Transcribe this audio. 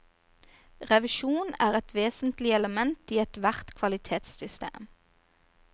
Revisjon er et vesentlig element i ethvert kvalitetssystem.